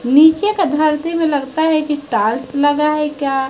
नीचे का धरती में लगता है की टाइल्स लगा है क्या?